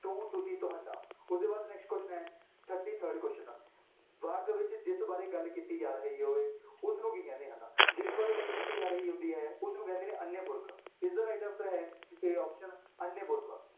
ਤੂੰ, ਤੁਸੀਂ, ਤੁਹਾਡਾ, ਉਹਦੇ ਬਾਅਦ next question ਹੈ thirty-third question ਵਾਕ ਵਿੱਚ ਜਿਸ ਬਾਰੇ ਗੱਲ ਕੀਤੀ ਜਾ ਰਹੀ ਹੋਏ, ਉਸਨੂੰ ਕੀ ਕਹਿੰਦੇ ਹਨ, ਜਿਸ ਬਾਰੇ ਗੱਲ ਕੀਤੀ ਜਾ ਰਹੀ ਹੁੰਦੀ ਹੈ ਉਸਨੂੰ ਕਹਿੰਦੇ ਨੇ ਅਨਯ ਪੁਰਖ ਇਸਦਾ right answer ਹੈ a option ਅਨਯ ਪੁਰਖ।